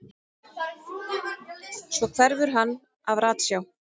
Svo hverfur hann af ratsjá.